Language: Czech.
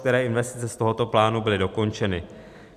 Které investice z tohoto plánu byly dokončeny?